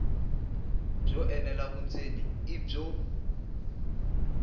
byo enela vundzeni i byo